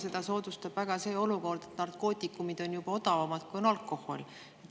Seda soodustab see olukord, et narkootikumid on juba odavamad kui alkohol.